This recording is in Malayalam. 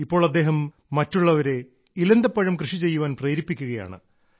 ഇപ്പോൾ അദ്ദേഹം മറ്റുള്ളവരെ ഇലന്തപ്പഴം കൃഷിചെയ്യാൻ പ്രേരിപ്പിക്കുകയാണ്